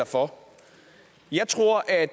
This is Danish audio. for jeg tror at